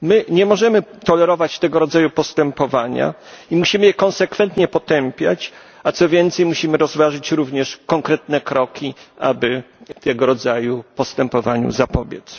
Nie możemy tolerować tego rodzaju postępowania i musimy je konsekwentnie potępiać, a co więcej musimy rozważyć również konkretne kroki, aby tego rodzaju postępowaniu zapobiec.